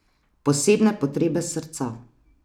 Posebne potrebe srca.